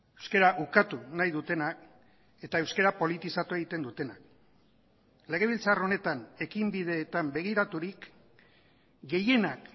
euskara ukatu nahi dutenak eta euskara politizatu egiten dutenak legebiltzar honetan ekinbideetan begiraturik gehienak